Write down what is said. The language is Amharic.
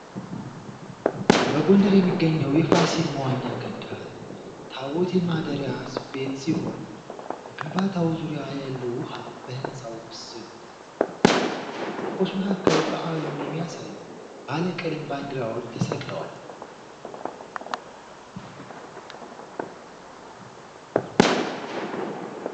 በጎንደር የሚገኘው የፋሲል መዋኛ ገንዳ ታቦት ማደሪያ ቤት ሲሆን በግንባታው ዙሪያ ያለው ውሃ የሕንጻውን ምስል ያንጸባርቃል። በዛፎች መካከል በዓሉን የሚያሳዩ ባለቀለም ባንዲራዎች ተሰቅለዋል።